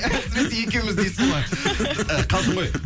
біз екеуміз дейсіз ғой і қалжың ғой